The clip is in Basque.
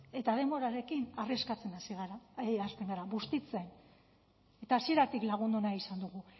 eta denborarekin arriskatzen hasten gara bustitzen eta hasieratik lagundu nahi izan dugu